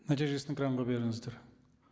нәтижесін экранға беріңіздер